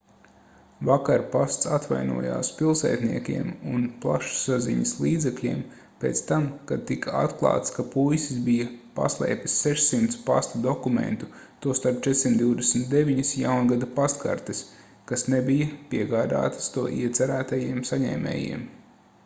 vakar pasts atvainojās pilsētniekiem un plašsaziņas līdzekļiem pēc tam kad tika atklāts ka puisis bija paslēpis 600 pasta dokumentu tostarp 429 jaungada pastkartes kas nebija piegādātas to iecerētajiem saņēmējiem